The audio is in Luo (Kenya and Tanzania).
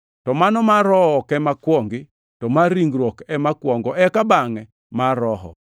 To mano mar Roho ok ema kuongi, to mar ringruok ema kuongo, eka bangʼe mar Roho.